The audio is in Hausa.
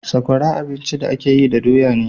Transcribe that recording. Sakwara abinci da a ke yi da doya ne